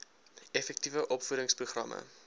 effektiewe opvoedings programme